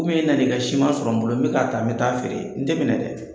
Komin e nan'i ka siman sɔrɔ n bolo, n bɛ k'a taa, n bɛ taa'a feere, n tɛ minɛ dɛ.